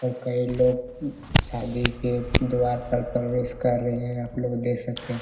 और कई लोग शादी के द्वार पर प्रवेश कर रहे हैं अपलोग देख सकते हैं।